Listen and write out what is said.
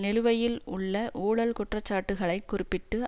நிலுவையில் உள்ள ஊழல் குற்றச்சாட்டுக்களைக் குறிப்பிட்டு